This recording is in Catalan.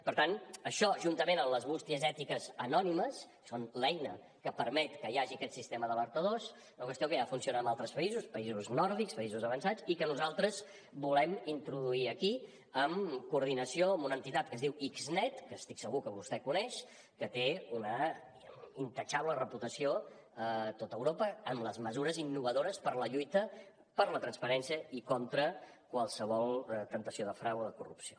per tant això juntament amb les bústies ètiques anònimes que són l’eina que permet que hi hagi aquest sistema d’alertadors és una qüestió que ja funciona en altres països països nòrdics països avançats i que nosaltres volem introduir aquí en coordinació amb una entitat que es diu xnet que estic segur que vostè coneix que té una irreprotxable reputació a tot europa amb les mesures innovadores per la lluita per la transparència i contra qualsevol temptació de frau o de corrupció